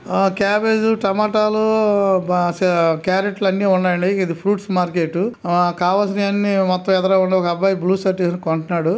ఆ క్యాబేజీ టమోటాలు బా స క్యారెట్లు అన్ని ఉన్నాయండిఇది ఫ్రూట్స్ మార్కెట్ కావాల్సిన అన్ని మొత్తం ఎదురుంగా ఒక అబ్బాయి బ్లూ షర్ట్ వేసుకొని కొంటన్నాడు.